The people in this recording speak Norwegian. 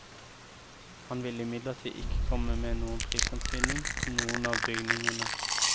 Han vil imidlertid ikke komme med noen prisantydning på noen av bygningene.